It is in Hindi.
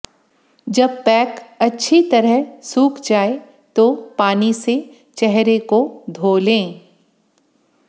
जब पैक अच्छी तरह सूख जाए तो पानी से चेहरे को धो लें